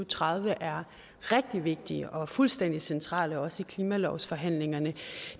tredive er rigtig vigtige og fuldstændig centrale også i klimalovsforhandlingerne